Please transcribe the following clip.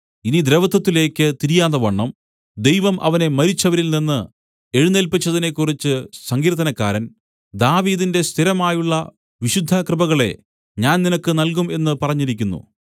ഇനി ദ്രവത്വത്തിലേക്ക് തിരിയാതവണ്ണം ദൈവം അവനെ മരിച്ചവരിനിന്ന് എഴുന്നേല്പിച്ചതിനെക്കുറിച്ച് സങ്കീർത്തനക്കാരൻ ദാവീദിന്റെ സ്ഥിരമായുള്ള വിശുദ്ധ കൃപകളെ ഞാൻ നിങ്ങൾക്ക് നല്കും എന്ന് പറഞ്ഞിരിക്കുന്നു